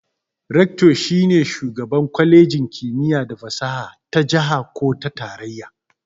"Rector"shi ne shugaban kwalejin kimiyya da fasaha ta jiha ko tarayya.